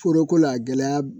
Foroko la gɛlɛya